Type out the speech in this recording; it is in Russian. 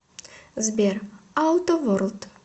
сбер ауто ворлд